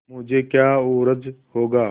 मुझे क्या उज्र होगा